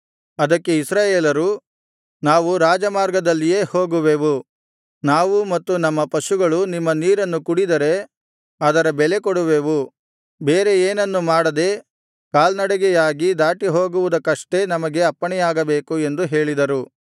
ಅದಕ್ಕೆ ಇಸ್ರಾಯೇಲರು ನಾವು ರಾಜಮಾರ್ಗದಲ್ಲಿಯೇ ಹೋಗುವೆವು ನಾವೂ ಮತ್ತು ನಮ್ಮ ಪಶುಗಳೂ ನಿಮ್ಮ ನೀರನ್ನು ಕುಡಿದರೆ ಅದರ ಬೆಲೆ ಕೊಡುವೆವು ಬೇರೆ ಏನನ್ನು ಮಾಡದೆ ಕಾಲ್ನಡೆಯಾಗಿ ದಾಟಿಹೋಗುವುದಕಷ್ಟೇ ನಮಗೆ ಅಪ್ಪಣೆಯಾಗಬೇಕು ಎಂದು ಹೇಳಿದರು